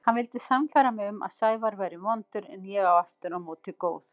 Hann vildi sannfæra mig um að Sævar væri vondur en ég aftur á móti góð.